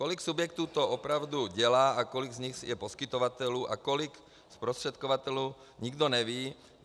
Kolik subjektů to opravdu dělá, a kolik z nich je poskytovatelů a kolik zprostředkovatelů, nikdo neví.